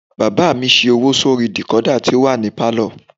Bàbá mi ṣe owó sórí dìkódà tó wà ní pálọ̀